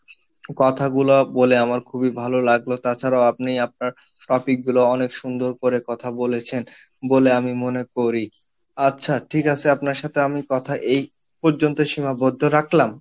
কথা বলা বলে আমার খুবই ভালো লাগলো তাছাড়াও আপনি আপনার topic গুলো অনেক সুন্দর করে কথা বলেছেন বলে আমি মনে করি আচ্ছা ঠিক আসে আপনার সাথে আমি কথা এই পর্যন্তই সীমাবদ্ধ রাখলাম